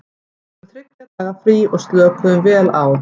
Við fengum þriggja daga frí og slökuðum vel á.